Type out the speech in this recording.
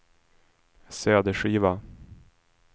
cd-skiva